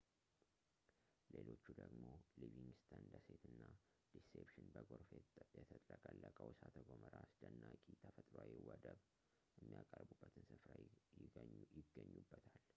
ሌሎቹ ደግሞ ሊቪንግስተን ደሴት እና ዲሴፕሽን በጎርፍ የተጥለቀለቀው እሳተ ገሞራ አስደናቂ ተፈጥሮአዊ ወደብ የሚያቀርቡበትን ስፍራ ይገኙበታል